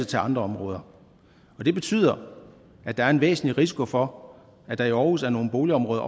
til andre områder det betyder at der er en væsentlig risiko for at der i aarhus er nogle boligområder